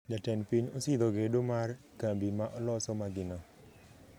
Jatend piny osidho gedo mar kambi ma loso magina